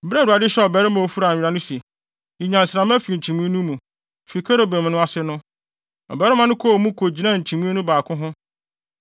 Bere a Awurade hyɛɛ ɔbarima a ofura nwera no se, “Yi nnyansramma fi nkyimii no mu, fi kerubim no ase no,” ɔbarima no kɔɔ mu kogyinaa nkyimii no baako ho.